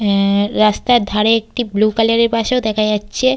আ-এ রাস্তার ধারে একটি বুলু কালারের বাস -ও দেখা যাচ্ছে।